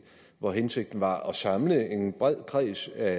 hvor hensigten var at samle en bred kreds af